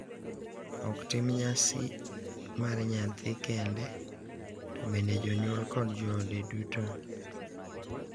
Ok tim nyasi mar nyathi kende, to bende jonyuol kod joode duto.